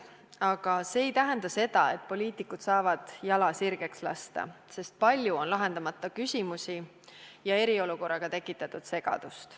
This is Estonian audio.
Aga see ei tähenda seda, et poliitikud saavad jala sirgeks lasta, sest palju on lahendamata küsimusi ja eriolukorraga tekitatud segadust.